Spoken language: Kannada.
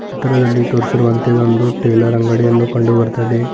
ಚಿತ್ರದಲ್ಲಿ ತೋರಿಸಿರುವಂತೆ ಇದೊಂದು ಟೈಲರ್ ಅಂಗಡಿಯನ್ನು ಕಂಡು ಬರ್ತಾ ಇದೆ.